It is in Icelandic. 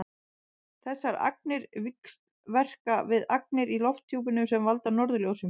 þessar agnir víxlverka við agnir í lofthjúpnum sem valda norðurljósum